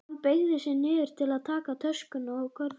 Hann beygði sig niður til að taka töskuna og körfuna.